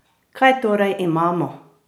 Kaj torej imamo?